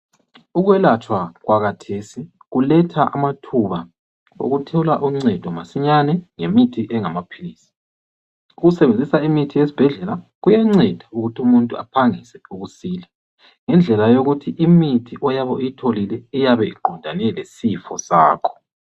Ukwelatshwa kwakhathesi kuletha amathuba okuthola uncedo masinyane ngemithi engamaphilisi. Ukusebenzisa imithi yesibhedlela kuyanceda ukuthi umuntu aphangise ukusila ngendlela eyokuthi imithi oyabe uyitholile iyabe iqondane lesifo sakho.